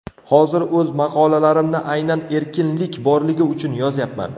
Hozir o‘z maqolalarimni aynan erkinlik borligi uchun yozyapman.